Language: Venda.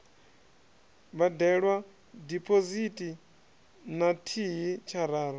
badelwa diphosithi na thihi tshararu